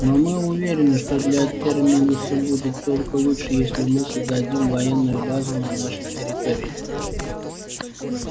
но мы уверены что для терминуса будет только лучше если мы создадим военную базу на вашей территории